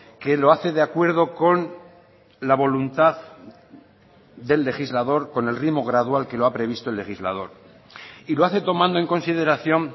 que lo hace de acuerdo con la voluntad del legislador con el ritmo gradual que lo ha previsto el legislador y lo hace tomando en consideración